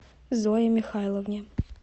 зое михайловне